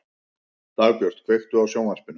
Dagbjört, kveiktu á sjónvarpinu.